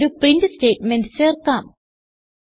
ഇവിടെ ഒരു print statement ചേർക്കാം